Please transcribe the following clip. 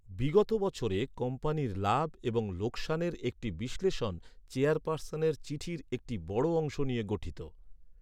বিগত বছরে কোম্পানির লাভ এবং লোকসানের একটি বিশ্লেষণ, চেয়ারপার্সনের চিঠির একটি বড় অংশ নিয়ে গঠিত।